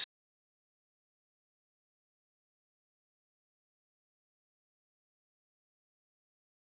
Hafsteinn Hauksson: Er þá nokkuð eftir nema fara bara og smakka?